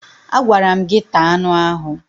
Agwara m gị taa anụ ahụ!